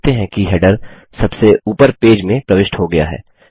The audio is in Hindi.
आप देखते हैं कि हैडर सबसे ऊपर पेज में प्रविष्ट हो गया है